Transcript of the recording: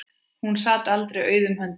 Hún sat aldrei auðum höndum.